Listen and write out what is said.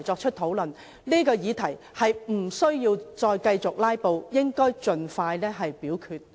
議員無須在這個議題上繼續"拉布"，應盡快表決。